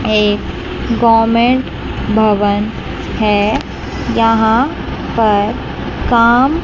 ये गवर्नमेंट भवन है यहां पर काम--